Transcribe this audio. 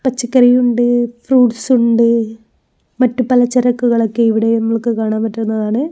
പച്ചക്കറിയുണ്ട് fruits ഉണ്ട് മറ്റ് പല ചരക്ക്കൾ ഒക്കെ ഇവിടെ നമ്മൾക്ക് കാണാൻ പറ്റുന്നതാണ്.